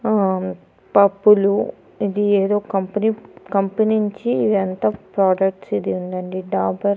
ఆ పప్పులు ఇది ఏదో కంపెనీ కంపెనీ నుంచి ఇదంతా ప్రొడక్ట్స్ ఇది ఉందండి డాబర్ --